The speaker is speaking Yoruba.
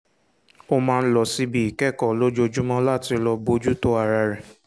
ó máa ń lọ síbi ìkẹ́kọ̀ọ́ lójoojúmọ́ láti lọ bójú tó ara rẹ̀